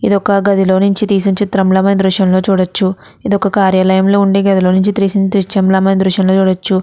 ఇది ఒక గదిలోనుంచి తీసిన చిత్రం ల మనం దృశ్యం లో చూడవచు ఇది ఒక కార్యాలయం లో నుంచి తీసిన దృశ్యం ల మనం చూడవచు.